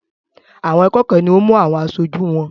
Àwọn akẹ́kọ̀ọ́ ni ó mú àwọn aṣojú wọn.